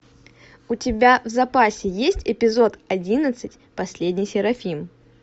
у тебя в запасе есть эпизод одиннадцать последний серафим